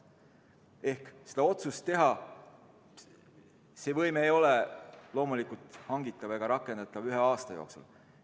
Ehk see ei ole loomulikult hangitav ega rakendatav ühe aasta jooksul.